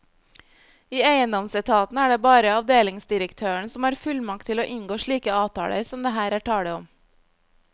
I eiendomsetaten er det bare avdelingsdirektøren som har fullmakt til å inngå slike avtaler som det her er tale om.